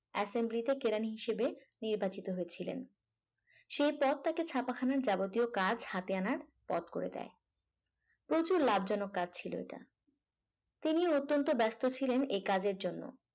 assembly তে কেরানি হিসাবে নির্বাচিত হয়েছিলেন সেই পথ তাকে ছাপাখানার যাবতীয় কাজ হাতে আনার পথ করে দেয় প্রচুর লাভজনক কাজ ছিল ওটা তিনি অত্যন্ত ব্যস্ত ছিলেন এই কাজের জন্য।